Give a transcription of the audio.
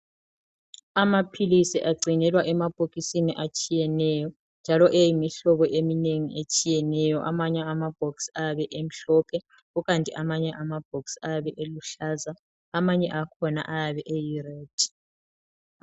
Amaphilisi agcinelwa emabhokisini atshiyeneyo njalo eyimihlobo eminengi etshiyeneyo, amanye amabhokisi ayabe emhlophe, kukanti amanye amabhokisi ayabe eluhlaza amanye akhona ayabe eyi red.